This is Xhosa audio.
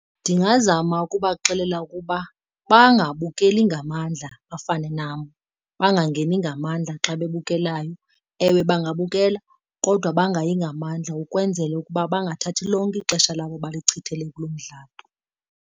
Ndingazama ukubaxelela ukuba bangabukeli ngamandla bafane nam, bangangeni ngamandla xa bebukelayo. Ewe bangabukela kodwa bangayi ngamandla ukwenzela ukuba bangathathi lonke ixesha labo balichithele kulo mdlalo.